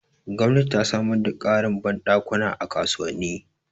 Gwamnati ta samar da ƙarin banɗakuna a kasuwanni